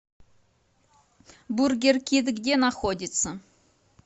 бургеркит где находится